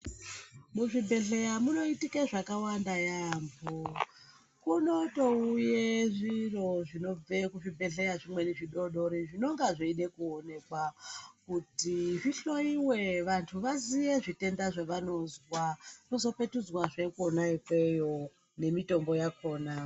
Muzvibhedhlera munoitike zvakawanda yamho , munotouye zviro zvinobve kuzvibhedhlera zvimweni zvidodori zvinonga zveida kuonekwa kuti zvihloiwe vantu vaziye zvitenda zvevanozwa vozopetudzwazve Kona ikweyo nemitombo yakona.